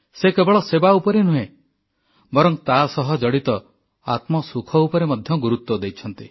ସେ କେବଳ ସେବା ଉପରେ ନୁହେଁ ବରଂ ତାସହ ଜଡ଼ିତ ଆତ୍ମସୁଖ ଉପରେ ମଧ୍ୟ ଗୁରୁତ୍ୱ ଦେଇଛନ୍ତି